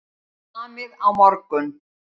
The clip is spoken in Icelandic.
Samið á morgun